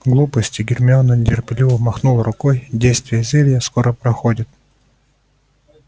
глупости гермиона нетерпеливо махнула рукой действие зелья скоро проходит